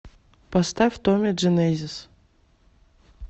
поставь томми дженезис